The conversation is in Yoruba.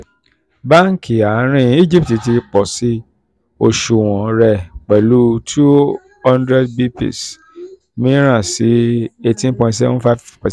banki àárín egypt ti pọ̀sí oṣùwọ̀n rẹ̀ pẹ̀lú two hundred bps míràn sí eighteen point five five percent.